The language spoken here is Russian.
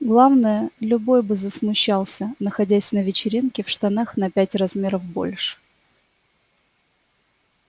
главное любой бы засмущался находясь на вечеринке в штанах на пять размеров больше